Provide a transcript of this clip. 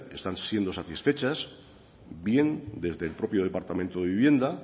están siendo satisfechas bien desde el propio departamento de vivienda